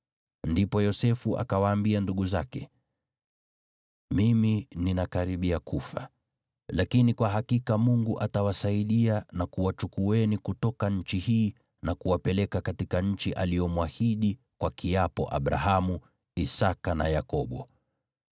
Ndipo Yosefu akawaambia ndugu zake, “Mimi ninakaribia kufa. Lakini kwa hakika Mungu atawasaidia na kuwachukueni kutoka nchi hii na kuwapeleka katika nchi aliyomwahidi kwa kiapo Abrahamu, Isaki na Yakobo.”